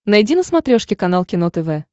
найди на смотрешке канал кино тв